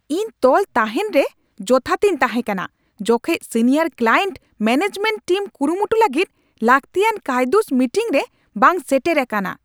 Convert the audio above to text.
ᱤᱧ ᱛᱚᱞ ᱛᱟᱦᱮᱱ ᱨᱮ ᱡᱚᱛᱷᱟᱛᱤᱧ ᱛᱟᱦᱮᱸ ᱠᱟᱱᱟ ᱡᱚᱠᱷᱮᱡ ᱥᱤᱱᱤᱭᱟᱨ ᱠᱞᱟᱭᱮᱱᱴ ᱢᱮᱹᱱᱮᱡᱢᱮᱱᱴ ᱴᱤᱢ ᱠᱩᱨᱩᱢᱩᱴᱩ ᱞᱟᱹᱜᱤᱫ ᱞᱟᱹᱠᱛᱤᱭᱟᱱ ᱠᱟᱹᱭᱫᱩᱥ ᱢᱤᱴᱤᱝᱨᱮ ᱵᱟᱝ ᱥᱮᱴᱮᱨ ᱟᱠᱟᱱᱟ ᱾